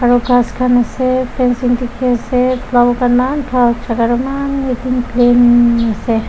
aro khass khan ase fencing dekhe ase flower khan eman bhal jaka tu eman plain ase.